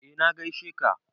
Eh na gaishe ka